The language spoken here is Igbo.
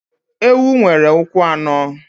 Ewu nwere ụkwụ anọ.